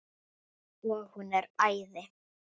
Og hún er æði.